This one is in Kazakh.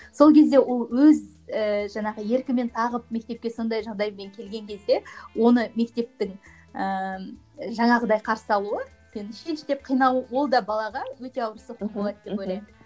сол кезде ол өз ііі жаңағы еркімен тағып мектепке сондай жағдаймен келген кезде оны мектептің ііі жаңағыдай қарсы алуы меніңше шеш деп қинау ол да балаға өте ауыр соққы болады деп ойлаймын